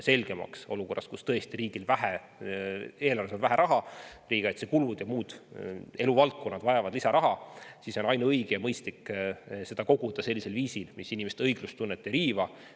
Ja olukorras, kus tõesti riigil on eelarves vähe raha, aga riigikaitse ja muud eluvaldkonnad vajavad lisaraha, saaks selgemaks, et ainuõige ja mõistlik on seda koguda sellisel viisil, mis inimeste õiglustunnet ei riiva.